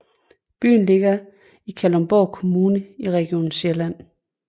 Byen ligger i Kalundborg Kommune i Region Sjælland